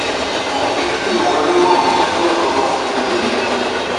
mo wo fídíò oníhòòhò ṣùgbọn nǹkan ọmọkuùnrin mi kò le